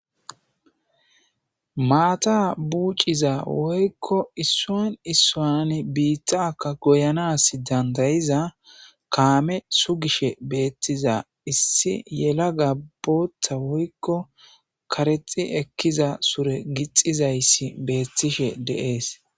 maata buuciza woykko issuwa issuwan biittakka goyanas dandayiza kaame sugishe beettiza issi yelaga bootha woykko karexi ekkiza sure gixizayssi beettishe de'es.